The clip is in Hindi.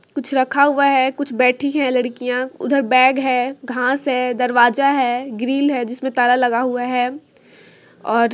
कुछ रखा हुआ है कुछ बैठी है लड़किया उधर बेग है घास है दरवाजा है ग्रिल है जिस मे ताला लगा हुआ है। और--